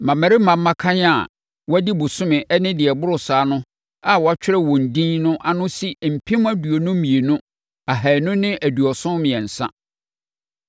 Mmammarima mmakan a wɔadi bosome ne deɛ ɛboro saa no a ɔtwerɛɛ wɔn edin no ano si mpem aduonu mmienu ahanu ne aduɔson mmiɛnsa (22,273).